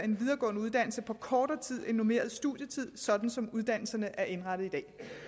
en videregående uddannelse på kortere tid end normeret studietid sådan som uddannelserne er indrettet